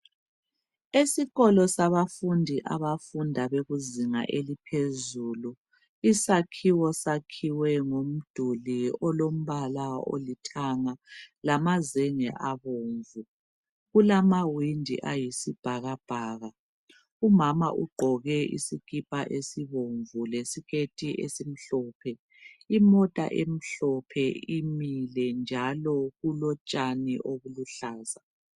Esikolo sabafundi abafunda bekuzinga eliphezulu. Isakhiwo sakhiwe ngomduli olombala olithanga lamazenge abomvu. Kulamawindi ayisibhakabhaka. Umama ugqoke isikipa esibomvu lesiketi esimhlophe. Imota emhlophe imile njalo kulotshani obuluhlaza.